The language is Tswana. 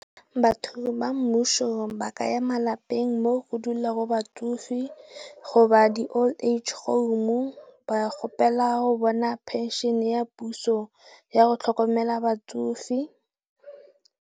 Batho ba mmuso ba ka ya malapeng mo go dulago batsofe go ba di Old Age Home ba gopela go bona penšhene ya puso yago tlhokomela batsofe.